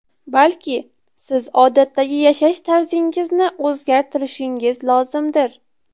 Balki siz odatdagi yashash tarzingizni o‘zgartirishingiz lozimdir.